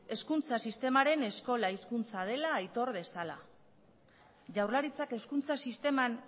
hezkuntza sistemaren eskola hizkuntza dela aitor dezala jaurlaritzak hezkuntza sisteman